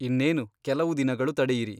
ಇನ್ನೇನು ಕೆಲವು ದಿನಗಳು ತಡೆಯಿರಿ !